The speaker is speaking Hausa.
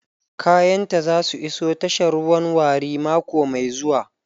Kayanta za su iso tashar ruwan Warri mako mai zuwa.